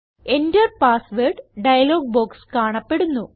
Enter password dialog box കാണപ്പെടുന്നു